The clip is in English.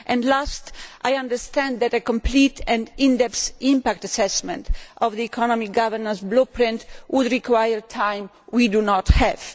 Last, I understand that a complete and in depth impact assessment of the economic governance blueprint would require time we do not have.